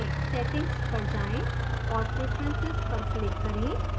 settings पर जाएं और preferences पर click करें